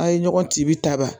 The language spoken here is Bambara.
A' ye ɲɔgɔn cibi ta